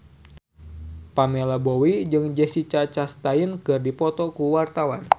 Pamela Bowie jeung Jessica Chastain keur dipoto ku wartawan